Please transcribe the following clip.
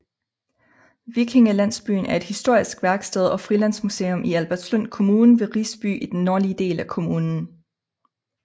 Vikingelandsbyen er et historisk værksted og frilandsmuseum i Albertslund Kommune ved Risby i den nordlige del af kommunen